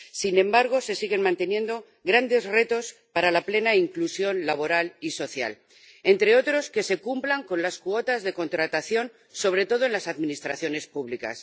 Sin embargo, se siguen manteniendo grandes retos para la plena inclusión laboral y social, entre otros, que se cumplan las cuotas de contratación, sobre todo en las administraciones públicas.